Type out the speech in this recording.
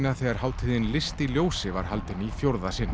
þegar hátíðin list í ljósi var haldin í fjórða sinn